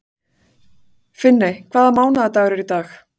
Finney, hvaða mánaðardagur er í dag?